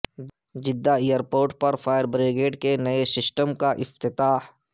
Jeddah airport پر fire brigade کے نئے سسٹم کا افتتاح